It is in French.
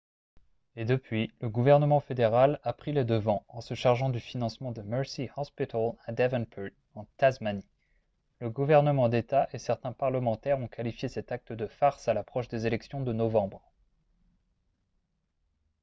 et depuis le gouvernement fédéral a pris les devants en se chargeant du financement du mersey hospital à devonport en tasmanie le gouvernement d'état et certains parlementaires ont qualifié cet acte de farce à l'approche des élections de novembre